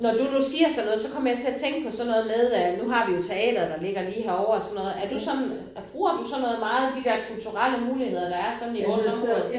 Når du nu siger sådan noget så kommer jeg til at tænke på sådan noget med øh nu har vi jo teatret lige herovre og sådan noget er du sådan bruger du sådan noget meget de der kulturelle muligheder der er sådan i vores område